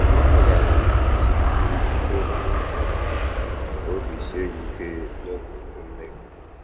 Ọ gụ̀ghàrị̀rị́ ihe ọ ga-èkwú tupu ógè èrùó kà óbì síè ya ìké n'ógè okwu mmèghé.